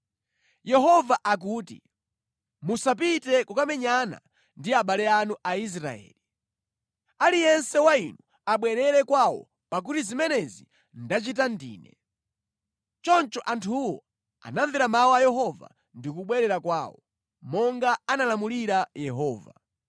‘Yehova akuti: Musapite kukamenyana ndi abale anu Aisraeli. Aliyense wa inu abwerere kwawo, pakuti zimenezi ndachita ndine.’ ” Choncho anthuwo anamvera mawu a Yehova ndi kubwerera kwawo, monga analamulira Yehova.